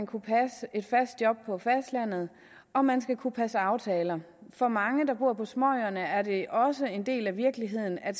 kunne passe et fast job på fastlandet og man skal kunne passe aftaler for mange der bor på småøerne er det også en del af virkeligheden at